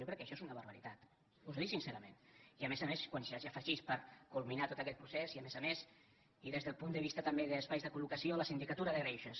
jo crec que això és una barbaritat us ho dic sincerament i a més a més quan s’hi hagi afegit per culminar tot aquest procés i a més a més i des del punt de vista també d’espais de col·locació la sindicatura de greuges